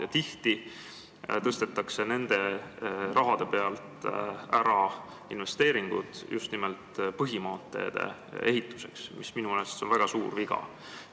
Ja tihti tõstetakse ära investeeringud just nimelt põhimaanteede ehituseks, mis minu meelest on väga suur viga.